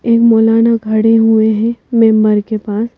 एक मौलाना खड़े हुए हैं मेंबर के पास।